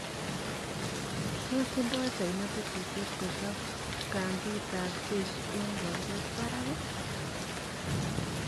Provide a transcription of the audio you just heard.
Tos tinda China tetutiet kuchop kambit ab jeshi eng boldet barak?